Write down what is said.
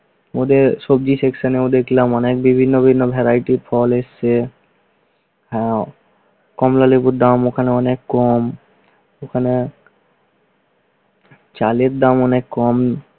ওদের সবজি section ও দেখলাম অনেক বিভিন্ন ভিন্ন varieties ফল এসেছে, ও কমলালেবুর দাম ওখানে অনেক কম ওখানে চালের অনেক কম